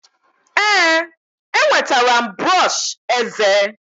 ee, enwetara m brọsh eze